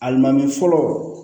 Alimami fɔlɔ